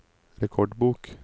rekordbok